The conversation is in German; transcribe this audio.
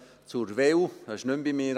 das ist nicht mehr bei mir.